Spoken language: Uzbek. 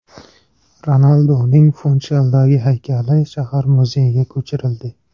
Ronalduning Funshaldagi haykali shahar muzeyiga ko‘chirildi.